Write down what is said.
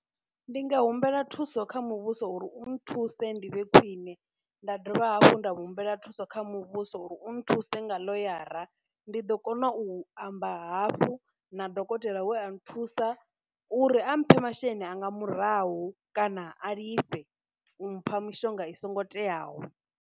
Ndi nga humbela thuso kha muvhuso uri u nthuse ndi vhe khwine, nda dovha hafhu nda humbela thuso kha muvhuso uri u nthuse nga ḽoyara ndi ḓo kona u amba hafhu na dokotela we a nthusa uri a mphe masheleni anga murahu, kana a lifhe mpha mishonga i songo teaho.